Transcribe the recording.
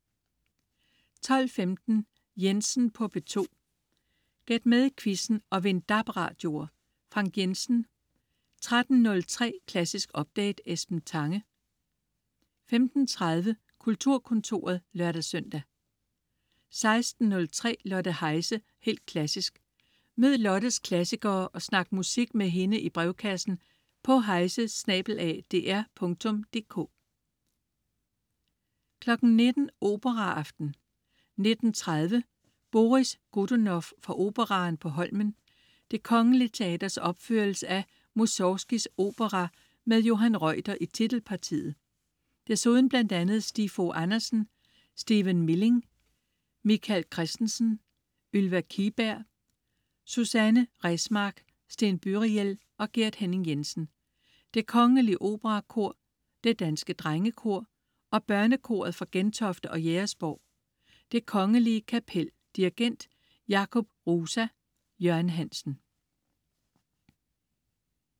12.15 Jensen på P2. Gæt med i quizzen og vind DAB-radioer. Frank Jensen 13.03 Klassisk update. Esben Tange 15.30 Kulturkontoret (lør-søn) 16.03 Lotte Heise, helt klassisk. Mød Lottes klassikere og snak musik med hende i brevkassen på heise@dr.dk 19.00 Operaaften. 19.30: Boris Godunov fra Operaen på Holmen. Det Kgl. Teaters opførelse af Musorgskijs opera med Johan Reuter i titelpartiet. Desuden bl.a. Stig Fogh Andersen, Stephen Milling, Michael Kristensen, Ylva Kihlberg, Susanne Resmark, Sten Byriel og Gert Henning-Jensen. Det Kongelige Operakor. Det Danske Drengekor og Børnekoret fra Gentofte og Jægersborg. Det Kongelige Kapel. Dirigent: Jakub Hrusa. Jørgen Hansen